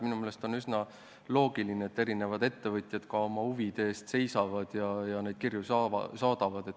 Minu meelest on üsna loogiline, et eri ettevõtjad oma huvide eest seisavad ja neid kirju saadavad.